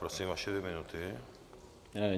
Prosím, vaše dvě minuty.